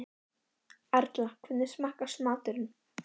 Erla, hvernig smakkast maturinn?